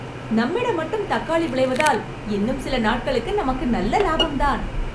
நம்மிடம் மட்டும் தக்காளி விளைவதால் இன்னும் சில நாட்களுக்கு நமக்கு நல்ல லாபம் தான்